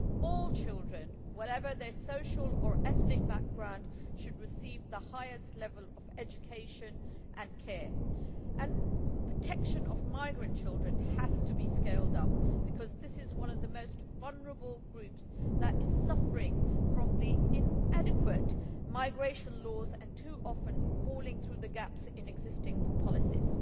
All children, whatever their social or ethnic background, should receive the highest level of education and care, and protection of migrant children in particular has to be scaled up, because this is one of the most vulnerable groups that is suffering from the inadequate migration laws and too often falling through the gaps in existing policies.